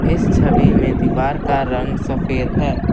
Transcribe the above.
इस छवि में दीवार का रंग सफेद है।